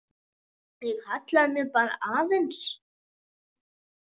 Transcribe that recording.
Ég hallaði mér bara aðeins.